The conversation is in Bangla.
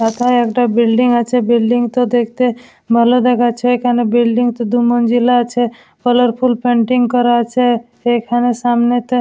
মাথায় একটা বিল্ডিং আছে। বিল্ডিং তো দেখতে ভালো দেখাচ্ছে কেন বিল্ডিং শুধু মনজিল আছে । কালারফুল পেন্টিং করা আছে । এখানে সামনে তে--